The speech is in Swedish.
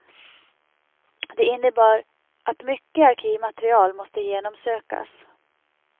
Det innebar att mycket arkivmaterial måste genomsökas.